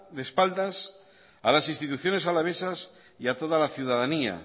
de espaldas a las instituciones alavesas y a toda la ciudadanía